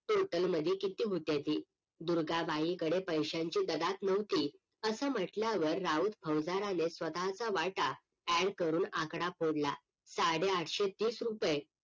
total मध्ये किती होत्याती? दुर्गाबाईंकडे पैश्यांची गदाक न्हवती असं म्हंटल्यावर राऊत फौजदाराने स्वतःचा वाटा add करून आकडा फोडला साडे आठशे तीस रुपय